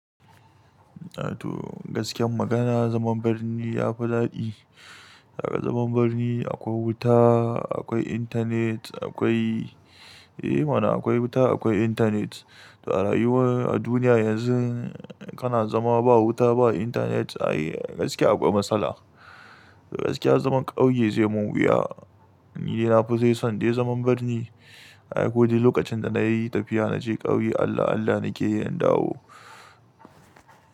To gaskiyar magana zaman birni yafi daɗi. Kaga zaman birni akwai wuta, akwai intanet, akwai, eh mana akwai wuta akwai intanet. To a rayuwar a duniya yanzu kana zama ba wuta ba intanet ai gaskiya akwai matsala. Gaskiya zaman ƙauye zai mun wuya. Ni dai na fi dai son dai zaman birni. Ai ko dai lokacin da nayi tafiya naje ƙauye Allah Allah nake yi in dawo.